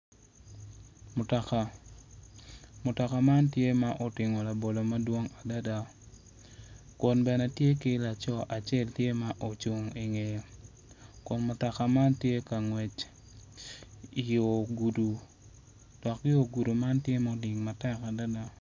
Mutoka mutoka man tye ma otingo labolo mdwong adada kun bene tye laco acek ma ocung i ngeye kun mutoka man tye ka ngwec i yo gudo dok yogudo man tye ma odlil matek adada.